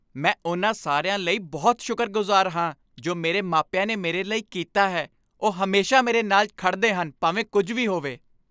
ਮੈਂ ਉਨ੍ਹਾਂ ਸਾਰਿਆਂ ਲਈ ਬਹੁਤ ਸ਼ੁਕਰਗੁਜ਼ਾਰ ਹਾਂ ਜੋ ਮੇਰੇ ਮਾਪਿਆਂ ਨੇ ਮੇਰੇ ਲਈ ਕੀਤਾ ਹੈ। ਉਹ ਹਮੇਸ਼ਾ ਮੇਰੇ ਨਾਲ ਖੜ੍ਹਦੇ ਹਨ ਭਾਵੇਂ ਕੁੱਝ ਵੀ ਹੋਵੇ।